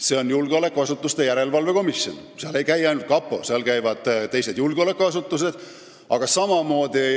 See on julgeolekuasutuste järelevalve komisjon: seal ei käi ainult kapo inimesed, seal käivad ka teiste julgeolekuasutuste esindajad.